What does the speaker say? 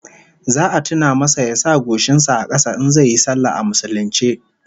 Za a tuna masa ya sa goshin sa a kasa in zai yi sallah a musulunce